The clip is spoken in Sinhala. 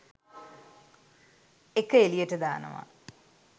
එක එළියට දානවා.